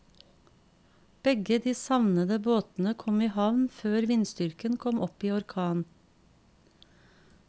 Begge de savnede båtene kom i havn før vindstyrken kom opp i orkan.